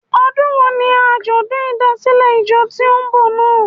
Ọdún wo ni àjọ̀dún ìdásílẹ̀ ìjọ tí ó n bọ̀ náà?